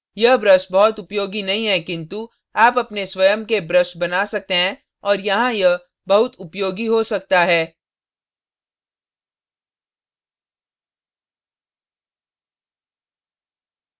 यह brush बहुत उपयोगी नहीं है किन्तु आप अपने स्वयं के brush बना सकते हैं और यहाँ यह बहुत उपयोगी हो सकता है